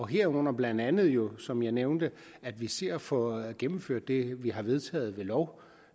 herunder blandt andet jo som jeg nævnte at vi ser at få gennemført det vi har vedtaget ved lov